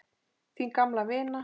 Þín gamla vina